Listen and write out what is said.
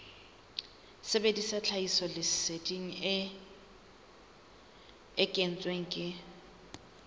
sebedisa tlhahisoleseding e kentsweng ke